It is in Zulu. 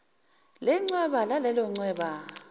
lechweba lalelo chweba